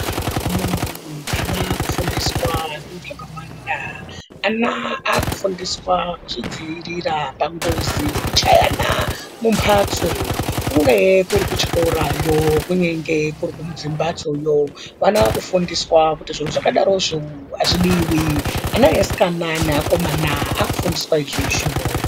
Vana vaakufundiswa zvintu zvakawanda . Ana akufundiswa kuzvidziirira pangozi yekuchayana mumphatso kungae kuri kuchikorayo ,kunengee kuri kumbatsoyo ana akufundiswa kuti zviro zvakadarozvo azvidiwi ,ana easikana neakomana akufundiswa izvozvo.